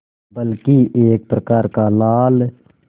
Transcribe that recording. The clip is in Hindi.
बल्कि एक प्रकार का लाल